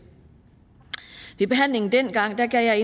ved behandlingen dengang gav jeg